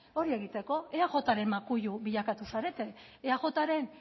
hori egiteko eajren makulu bilakatu zarete eajren